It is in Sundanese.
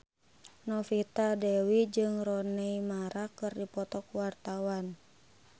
Novita Dewi jeung Rooney Mara keur dipoto ku wartawan